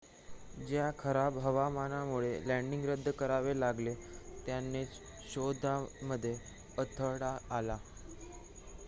ज्या खराब हवामानामुळे लॅन्डिंग रद्द करावे लागले त्यानेच शोधामध्ये अडथळा आला